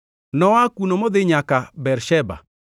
Noa kuno modhi nyaka Bersheba,